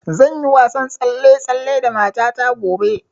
Zan yi wasan tsalle-tsalle da mata ta gobe